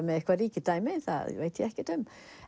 með eitthvað ríkidæmi það veit ég ekkert um